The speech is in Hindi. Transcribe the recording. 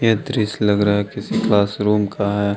दृश्य लग रहा है किसी क्लास रूम का है।